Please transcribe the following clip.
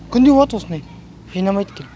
күнде болады осындай жинамайт келіп